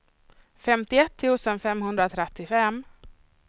femtioett tusen femhundratrettiofem